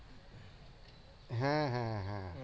হ্যাঁ হ্যাঁ হ্যাঁ